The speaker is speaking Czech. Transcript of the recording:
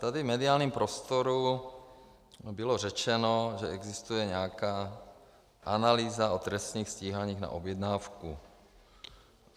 Tady v mediálním prostoru bylo řečeno, že existuje nějaká analýza o trestních stíháních na objednávku.